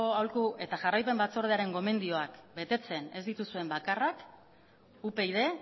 aholku eta jarraipen batzordearen betetzen ez dituzuen bakarrak upyd